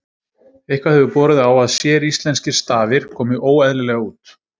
eitthvað hefur borið á að séríslenskir stafir komi óeðlilega út